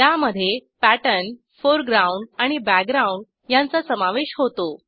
त्यामधे pattern foreground आणि background ह्यांचा समावेश होतो